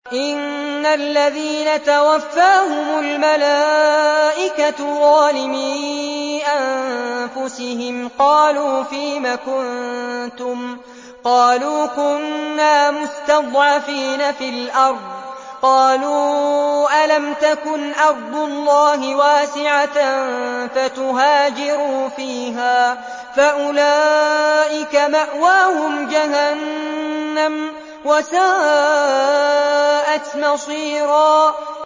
إِنَّ الَّذِينَ تَوَفَّاهُمُ الْمَلَائِكَةُ ظَالِمِي أَنفُسِهِمْ قَالُوا فِيمَ كُنتُمْ ۖ قَالُوا كُنَّا مُسْتَضْعَفِينَ فِي الْأَرْضِ ۚ قَالُوا أَلَمْ تَكُنْ أَرْضُ اللَّهِ وَاسِعَةً فَتُهَاجِرُوا فِيهَا ۚ فَأُولَٰئِكَ مَأْوَاهُمْ جَهَنَّمُ ۖ وَسَاءَتْ مَصِيرًا